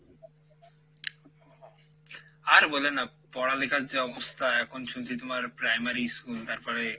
আর বলে না পড়ালিখার যে অবস্থা এখন শুনছি তুমার primary school তারপরে,